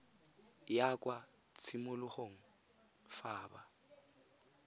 ya kwa tshimologong fa ba